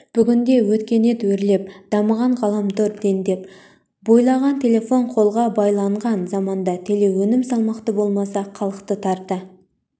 бүгінде өркениет өрлеп дамыған ғаламтор дендеп бойлаған телефон қолға байланған заманда телеөнім салмақты болмаса халықты тарта